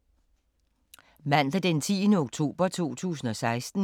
Mandag d. 10. oktober 2016